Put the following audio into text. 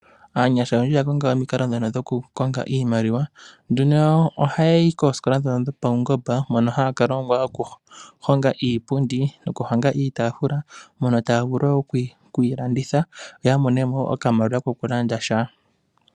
Aanyasha oyendji oya konga ominkalo dhoka dho kukonga iimaliwa .Ohaya yi kosikola ndhoka dhopaungomba mono haya ka longwa okuhonga iipundi ,okuhonga iitafula mono taya vulu woo okuyi landitha, opo ya mone mo okamaliwa kokulanda sha.